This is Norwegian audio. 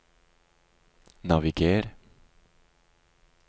naviger